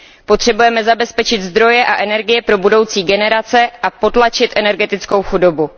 Potřebujeme zabezpečit zdroje a energie pro budoucí generace a potlačit energetickou chudobu.